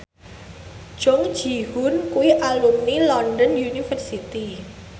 Jung Ji Hoon kuwi alumni London University